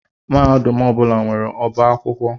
Mahadum ọ bụla nwere ọbá akwụkwọ